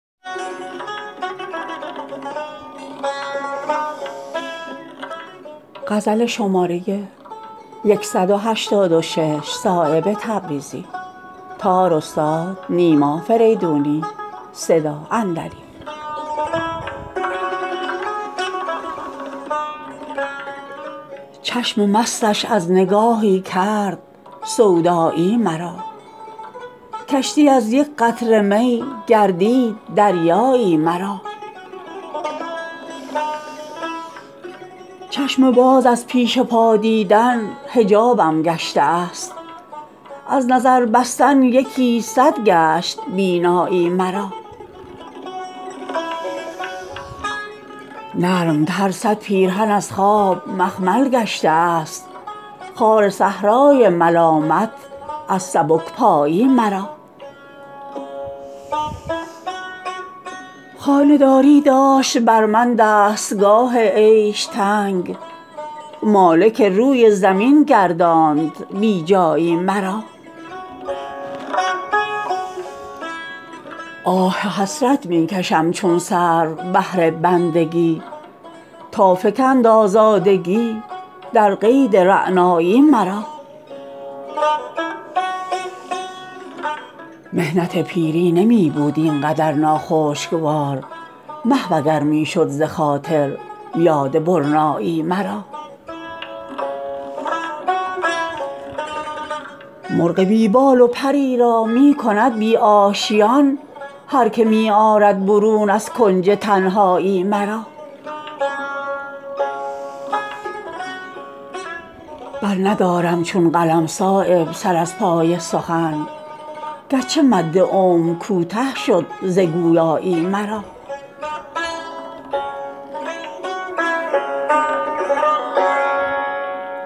چشم مستش از نگاهی کرد سودایی مرا کشتی از یک قطره می گردید دریایی مرا چشم باز از پیش پا دیدن حجابم گشته است از نظر بستن یکی صد گشت بینایی مرا نرمتر صد پیرهن از خواب مخمل گشته است خار صحرای ملامت از سبکپایی مرا خانه داری داشت بر من دستگاه عیش تنگ مالک روی زمین گرداند بی جایی مرا آه حسرت می کشم چون سرو بهر بندگی تا فکند آزادگی در قید رعنایی مرا محنت پیری نمی بود این قدر ناخوشگوار محو اگر می شد ز خاطر یاد برنایی مرا مرغ بی بال و پری را می کند بی آشیان هر که می آرد برون از کنج تنهایی مرا برندارم چون قلم صایب سر از پای سخن گرچه مد عمر کوته شد ز گویایی مرا